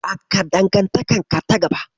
Haɓaka dangantaka ta gaba